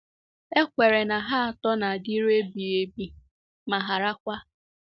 E kweere na ha atọ “na-adịru ebighị ebi, ma harakwa. ”